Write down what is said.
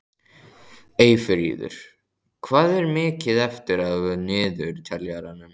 Eyfríður, hvað er mikið eftir af niðurteljaranum?